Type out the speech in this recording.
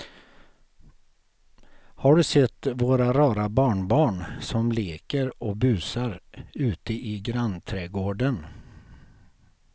Har du sett våra rara barnbarn som leker och busar ute i grannträdgården!